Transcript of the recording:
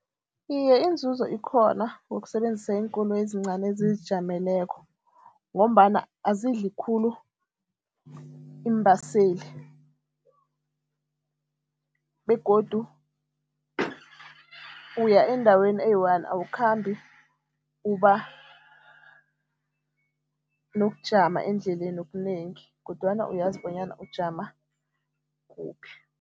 Iye, inzuzo ikhona ngokusebenzisa iinkoloyi ezincani ezizijameleko ngombana azidli khulu iimbaseli begodu uya endaweni eyi-one, awakhambi uba nokujama endleleni okunengi kodwana uyazi bonyana ujama kuphi.